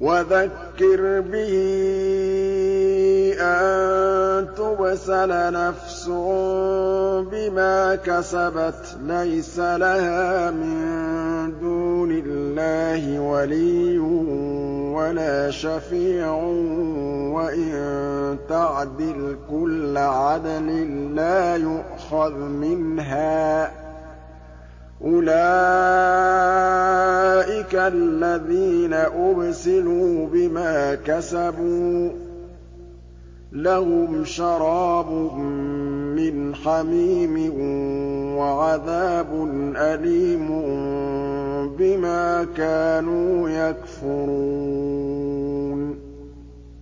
وَذَكِّرْ بِهِ أَن تُبْسَلَ نَفْسٌ بِمَا كَسَبَتْ لَيْسَ لَهَا مِن دُونِ اللَّهِ وَلِيٌّ وَلَا شَفِيعٌ وَإِن تَعْدِلْ كُلَّ عَدْلٍ لَّا يُؤْخَذْ مِنْهَا ۗ أُولَٰئِكَ الَّذِينَ أُبْسِلُوا بِمَا كَسَبُوا ۖ لَهُمْ شَرَابٌ مِّنْ حَمِيمٍ وَعَذَابٌ أَلِيمٌ بِمَا كَانُوا يَكْفُرُونَ